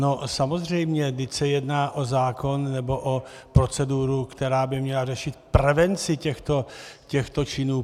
No, samozřejmě, vždyť se jedná o zákon nebo o proceduru, která by měla řešit prevenci těchto činů.